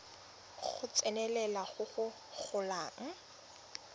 go tsenelela go go golang